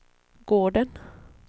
gården